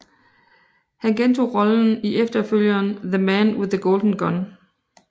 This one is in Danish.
Han gentog rollen i efterfølgeren The Man with the Golden Gun